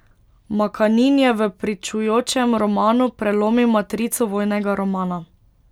Makanin je v pričujočem romanu prelomil matrico vojnega romana.